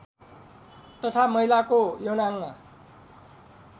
तथा महिलाको यौनाङ्ग